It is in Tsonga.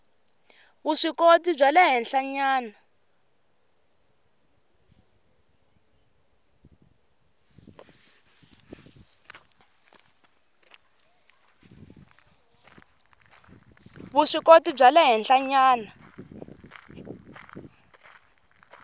vuswikoti bya le henhlanyana